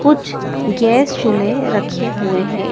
कुछ गैस चूल्हे रखे हुए हैं।